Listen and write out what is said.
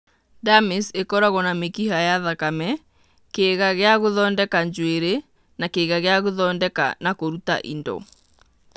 Dermis ĩkoragũo na mĩkiha ya thakame, kĩĩga gĩa gũthondeka njuĩrĩ na kĩĩga gĩa gũthondeka na kũruta indo.